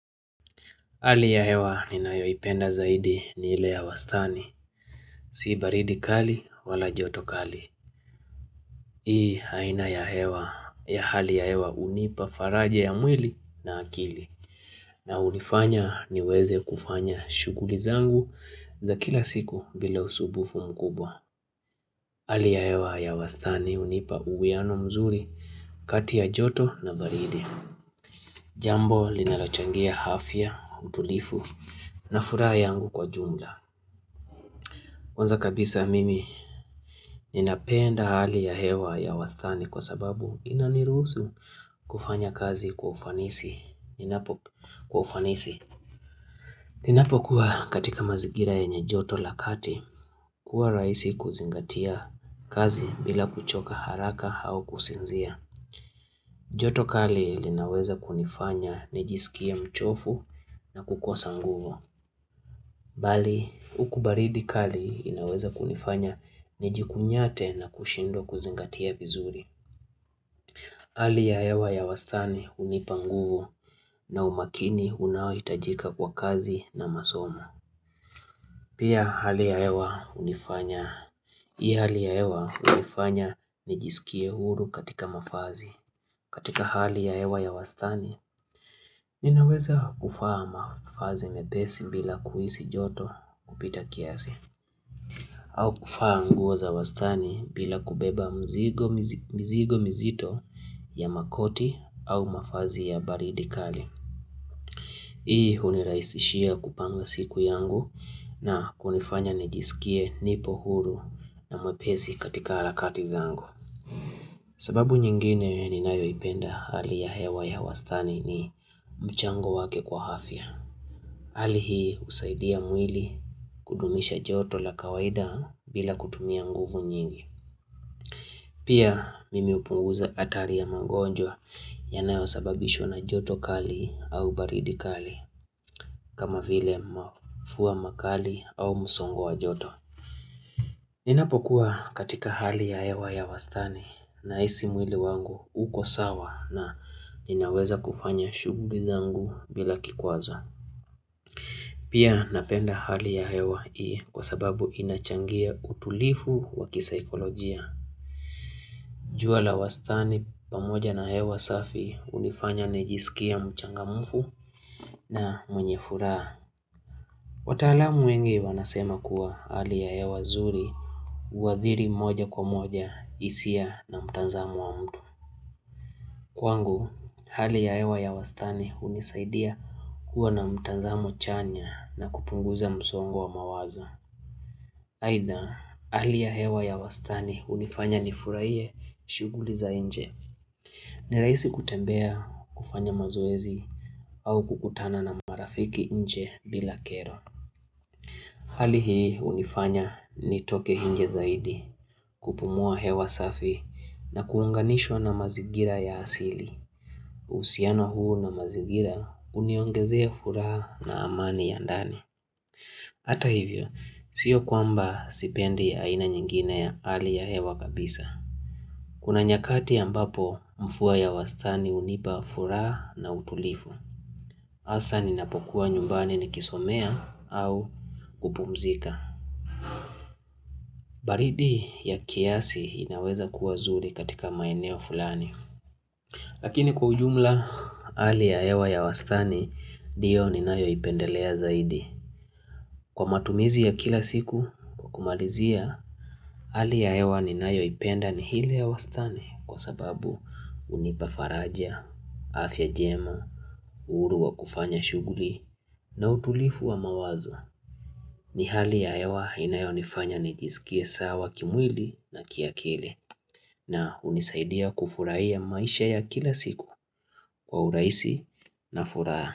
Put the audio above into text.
Hali ya hewa ninayoipenda zaidi ni ile ya wastani, si baridi kali wala joto kali. Hii haina ya hewa, ya hali ya hewa unipa faraja ya mwili na akili. Na unifanya niweze kufanya shuguli zangu za kila siku bila usubufu mkubwa. Hali ya hewa ya wastani hunipa uguiano mzuri kati ya joto na baridi. Jambo linalochangia hafya, utulifu na fura yangu kwa jumla. Kwanza kabisa mimi, ninapenda hali ya hewa ya wastani kwa sababu inaniruhusu kufanya kazi kwa ufanisi. Ninapo kwa ufanisi. Ninapokuwa katika mazigira yenye joto la kati, kuwa raisi kuzingatia kazi bila kuchoka haraka au kusinzia. Joto kali linaweza kunifanya nijisikie mchofu na kukosa nguvo. Bali, huku baridi kali inaweza kunifanya nijikunyate na kushindwa kuzingatia vizuri. Hali ya ewa ya wastani unipa nguvu na umakini unaohitajika kwa kazi na masomo. Pia hali ya ewa unifanya nijisikie huru katika mafazi. Katika hali ya ewa ya wastani, inaweza kufaa mafazi mepesi bila kuisi joto kupita kiasi. Au kufa nguo za wastani bila kubeba mzigo mizi mizigo mizito ya makoti au mafazi ya baridi kali. Hii huniraisishia kupanga siku yangu na kunifanya nijisikie nipo huru na mwepesi katika arakati zangu. Sababu nyingine ni nayoipenda hali ya hewa ya wastani ni mchango wake kwa hafia. Hali hii usaidia mwili kudumisha joto la kawaida bila kutumia nguvu nyingi. Pia nimepunguza atari ya mangonjwa yanayo sababishwa na joto kali au baridi kali kama vile mafua makali au musongo wa joto Ninapokuwa katika hali ya hewa ya wastani nahisi mwili wangu uko sawa na ninaweza kufanya shuguli zangu bila kikwazo Pia napenda hali ya hewa ii kwa sababu inachangia utulifu wakisaikolojia jua la wastani pamoja na hewa safi hunifanya nijisikie mchangamufu na mwenye furaha. Wataalamu wengi wanasema kuwa hali ya hewa zuri huathiri moja kwa moja isia na mtanzamu wa mtu. Kwangu, hali ya hewa ya wastani hunisaidia kuwa na mtanzamo chanya na kupunguza msongo wa mawaza. Aidha, hali ya hewa ya wastani hunifanya nifuraiye shuguli za enje. Ni rahisi kutembea kufanya mazoezi au kukutana na marafiki nje bila kero. Hali hii hunifanya nitoke hinje zaidi kupumua hewa safi na kuunganishwa na mazigira ya asili. Usiano huu na mazigira uniongezea furaha na amani ya ndani. Hata hivyo, sio kwamba sipendi aina nyingine ya hali ya hewa kabisa. Kuna nyakati ambapo mfuwa ya wastani unipa fura na utulifu. Asa ninapokuwa nyumbani nikisomea au kupumzika. Baridi ya kiasi inaweza kuwa zuri katika maeneo fulani. Lakini kwa ujumla ali ya ewa ya wastani dio ninayo ipendelea zaidi. Kwa matumizi ya kila siku kukumalizia ali ya ewa ni nayo ipenda ni hile ya wastani kwa sababu unipa faraja. Afya jemu, uhuru wa kufanya shuguli na utulifu wa mawazo ni hali ya yawa inayonifanya nijisikie sawa kimwili na kiakili na hunisaidia kufuraiya maisha ya kila siku kwa uraisi na furaa.